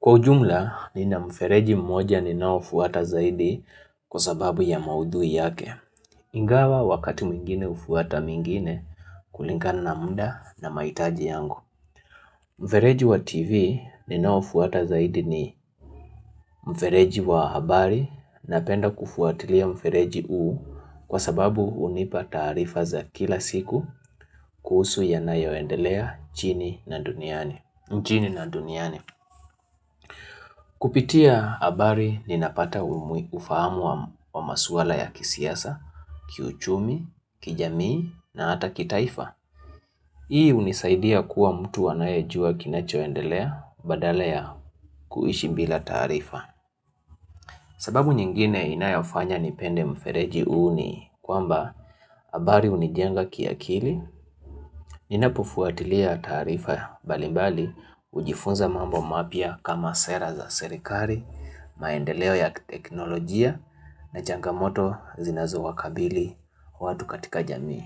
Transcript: Kwa ujumla, nina mfereji mmoja ninaofuata zaidi kwa sababu ya maudhui yake. Ingawa wakati mwingine hufuata mingine kulingana na muda na mahitaji yangu. Mfereji wa TV ninaofuata zaidi ni mfereji wa habari napenda kufuatilia mfereji huu kwa sababu hunipa tarifa za kila siku kuhusu yanayoendelea nchini na duniani. Mjini na duniani. Kupitia habari ninapata ufahamu wa maswala ya kisiasa, kiuchumi, kijamii na hata kitaifa. Hii hunisaidia kuwa mtu anayejua kinachoendelea badala ya kuishi bila tarifa. Sababu nyingine inayofanya nipende mfereji huu ni kwamba habari hunijenga kiakili, Ninapofuatilia taarifa mbalimbali hujifunza mambo mapya kama sera za serikari, maendeleo ya teknolojia na changamoto zinazowakabili watu katika jamii.